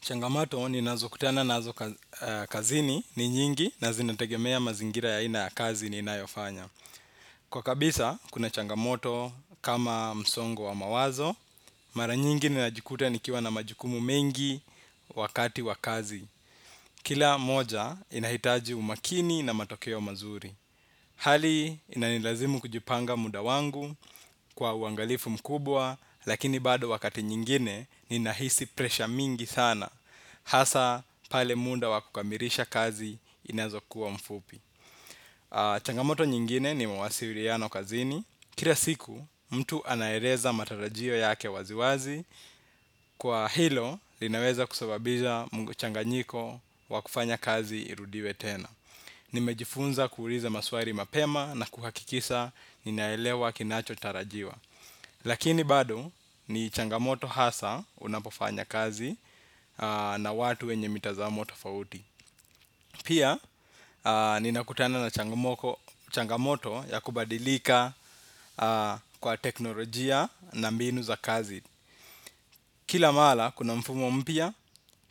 Changamoto ninazokutana nazo kazini ni nyingi na zinategemea mazingira ya aina ya kazi ninayofanya. Kwa kabisa, kuna changamoto kama msongo wa mawazo, mara nyingi ninajikuta nikiwa na majukumu mengi wakati wa kazi. Kila moja, inahitaji umakini na matokeo mazuri. Hali, inanilazimu kujipanga muda wangu kwa uangalifu mkubwa, lakini bado wakati nyingine, ninahisi presha mingi sana. Hasa pale munda wa kukamirisha kazi inazokuwa mfupi. Changamoto nyingine ni mawasiriano kazini. Kira siku mtu anaereza matarajio yake waziwazi. Kwa hilo linaweza kusababiza muchanganyiko wa kufanya kazi irudiwe tena. Nimejifunza kuuliza maswari mapema na kuhakikisha ninaelewa kinachotarajiwa. Lakini bado ni changamoto hasa unapofanya kazi na watu wenye mitazamoto tofauti. Pia ninakutana na changamoto ya kubadilika kwa teknolojia na mbinu za kazi. Kila mala kuna mfumo mpya,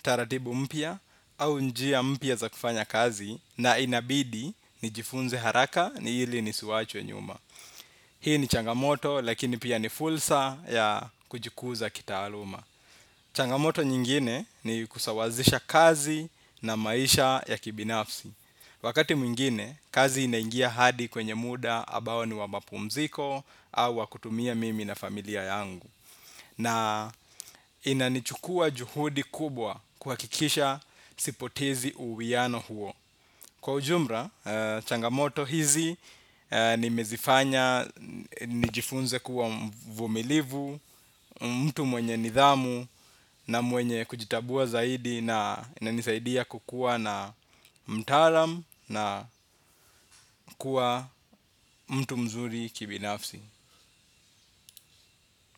taratibu mpya au njia mpya za kufanya kazi na inabidi nijifunze haraka hili nisiwachwe nyuma. Hii ni changamoto lakini pia ni fulsa ya kujikuza kitaaluma. Changamoto nyingine ni kusawazisha kazi na maisha ya kibinafsi. Wakati mwingine, kazi inaingia hadi kwenye muda abao ni wa mapumziko au wa kutumia mimi na familia yangu. Na inanichukua juhudi kubwa kuhakikisha sipotezi uwiano huo. Kwa ujumra, changamoto hizi nimezifanya, nijifunze kuwa mvumilivu, mtu mwenye nidhamu na mwenye kujitabua zaidi na inanisaidia kukuwa na mtalam na kuwa mtu mzuri kibinafsi.